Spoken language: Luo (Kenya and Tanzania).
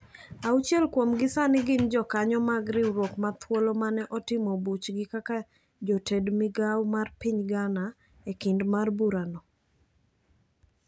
Auchiel kuom gi sani gin jokanyo mag riwruok mathuolo mane otimo buchgi kaka joted migawo mar piny Ghana ekinde mar bura no.